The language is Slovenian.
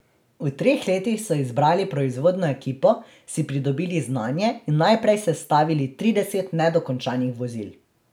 V treh letih so izbrali proizvodno ekipo, si pridobili znanje in najprej sestavili trideset nedokončanih vozil.